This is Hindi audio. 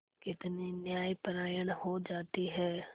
कितनी न्यायपरायण हो जाती है